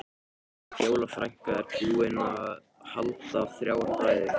Fjóla frænka er búin að halda þrjár ræður.